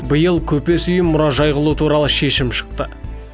биыл көпес үйін мұражай қылу туралы шешім шықты